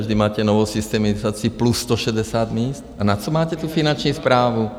Vždyť máte novou systemizaci plus 160 míst a na co máte tu Finanční správu?